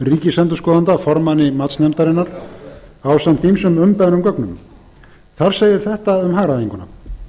ríkisendurskoðanda formanni matsnefndarinnar ásamt ýmsum umbeðnum gögnum þar segir þetta um hagræðinguna